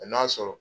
A n'a sɔrɔ